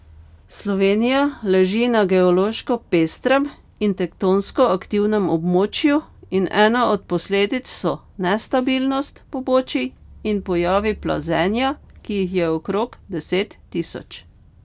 Slovenija leži na geološko pestrem in tektonsko aktivnem območju in ena od posledic so nestabilnost pobočij in pojavi plazenja, ki jih je okrog deset tisoč.